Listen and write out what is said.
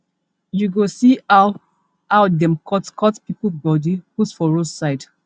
you go see how how dem cutcut pipo body put for roadside